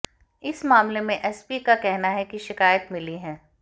इस मामले में एसपी का कहना है कि शिकायत मिली है